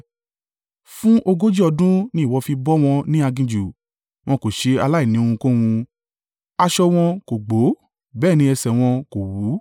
Fún ogójì ọdún ni ìwọ fi bọ́ wọn ní aginjù; wọn kò ṣe aláìní ohunkóhun, aṣọ wọn kò gbó bẹ́ẹ̀ ni ẹsẹ̀ wọn kò wú.